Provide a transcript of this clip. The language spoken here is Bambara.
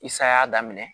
I say'a daminɛ